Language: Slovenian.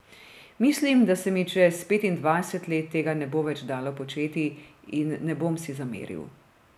Mislim, da se mi čez petindvajset let tega ne bo več dalo početi in ne bom si zameril.